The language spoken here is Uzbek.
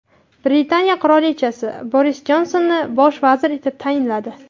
Britaniya qirolichasi Boris Jonsonni bosh vazir etib tayinladi.